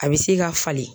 A bɛ se ka falen